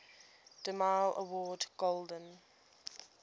demille award golden